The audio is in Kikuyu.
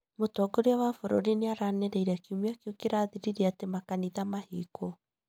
Mũtongoria wa bũrũri nĩranĩrĩire kiumia kĩu kirathirire atĩ makanitha mahingũrwo